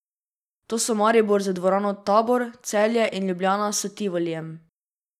To so Maribor z dvorano Tabor, Celje in Ljubljana s Tivolijem.